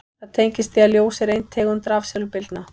Það tengist því að ljós er ein tegund rafsegulbylgna.